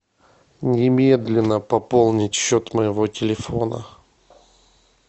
немедленно пополнить счет моего телефона